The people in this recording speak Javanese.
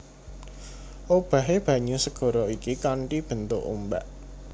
Obahé banyu segara iki kanthi bentuk ombak